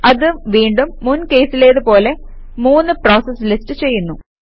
അത് വീണ്ടും മുൻ കേസിലേത് പോലെ മൂന്ന് പ്രോസസസ് ലിസ്റ്റ് ചെയ്യുന്നു